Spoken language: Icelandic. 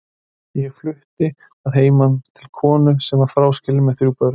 Ég flutti að heiman til konu sem var fráskilin með þrjú börn.